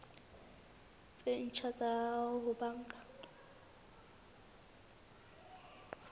tse ntjha tsa ho banka